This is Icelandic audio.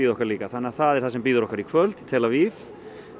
okkar líka það er það sem bíður okkar í kvöld í tel Aviv